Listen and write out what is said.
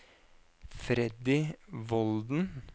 Freddy Volden